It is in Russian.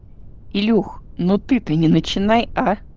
илюха но ты-то не начинай а